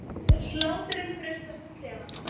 Hláturinn frussast um klefann.